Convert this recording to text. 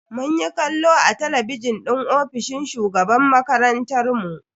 Munyi kallo a talabijin din ofishin shugaban makarantar mu.